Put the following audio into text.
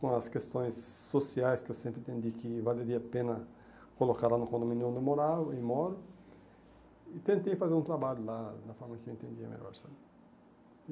Com as questões sociais que eu sempre entendi que valeria a pena colocar lá no condomínio onde eu morava, e moro, e tentei fazer um trabalho lá, da forma que eu entendia melhor, sabe?